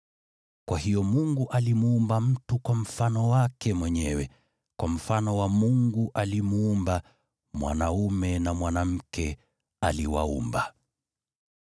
Kwa hiyo Mungu akamuumba mtu kwa mfano wake mwenyewe, kwa mfano wa Mungu alimuumba; mwanaume na mwanamke aliwaumba.